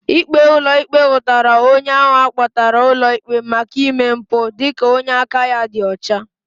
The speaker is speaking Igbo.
Ikpe ulo ikpe hutara onye ahụ akpotara ulo ikpe maka ime mpu dika onye aka ya di ọcha.